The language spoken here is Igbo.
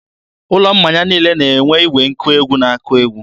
ụlọ mmanya niile na-enwe igwe nkụ egwu nke na akpọ egwu.